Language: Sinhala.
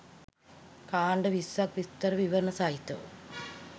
කාණ්ඩ 20ක් විස්තර විවරණ සහිතව